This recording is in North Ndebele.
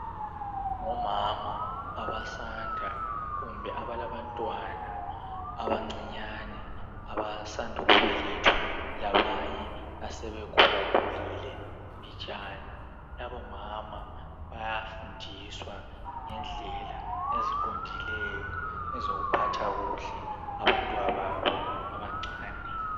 Ngomama abasanda kumbe abalabantwana abancinyane abasanda ukubelethwa labanye asebekhulakhulile mbijana. Labomama bayafundiswa ngendlela eziqondileyo ezokuphatha kuhle abantwababo abancane.